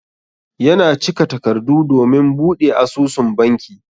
Ya na cika takardu domin buɗe asusun banki.